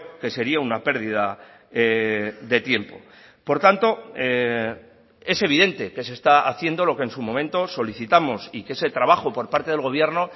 que sería una pérdida de tiempo por tanto es evidente que se está haciendo lo que en su momento solicitamos y que ese trabajo por parte del gobierno